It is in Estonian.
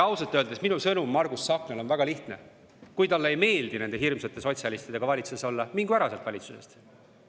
Ausalt öeldes minu sõnum Margus Tsahknale on väga lihtne: kui talle ei meeldi nende hirmsate sotsialistidega valitsuses olla, siis mingu ära sealt valitsusest.